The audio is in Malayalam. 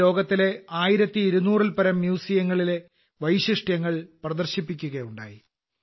ഇത് ലോകത്തിലെ 1200 ൽ പരം മ്യൂസിയങ്ങളിലെ വൈശിഷ്ട്യങ്ങൾ പ്രദർശിപ്പിക്കുകയുണ്ടായി